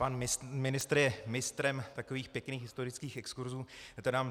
Pan ministr je mistrem takových pěkných historických exkurzů.